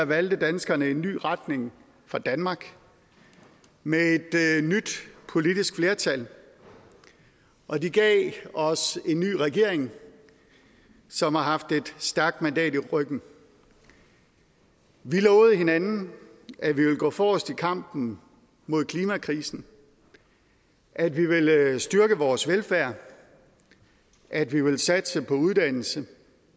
valgte danskerne en ny retning for danmark med et nyt politisk flertal og de gav os en ny regering som har haft et stærkt mandat i ryggen vi lovede hinanden at vi ville gå forrest i kampen mod klimakrisen at vi ville styrke vores velfærd at vi ville satse på uddannelse